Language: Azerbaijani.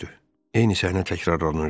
Eyni səhnə təkrarlanırdı.